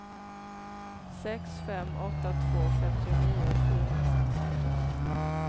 sex fem åtta två femtionio sjuhundrasextio